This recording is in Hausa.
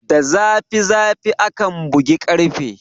Da zafi zafi akan bugi ƙarfe.